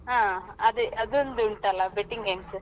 ಹಾ ಅದೆ ಅದೊಂದು ಉಂಟಲ್ಲ betting games .